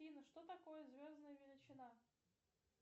афина что такое звездная величина